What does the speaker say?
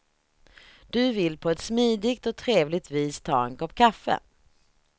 Du vill på ett smidigt och trevligt vis ta en kopp kaffe.